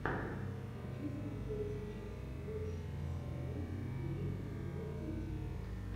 хочу смотреть сейчас лучшую серию бери и делай дети